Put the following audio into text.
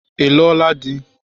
Ị lụo la di?